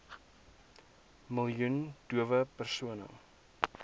miljoen dowe persone